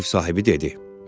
Ev sahibi dedi.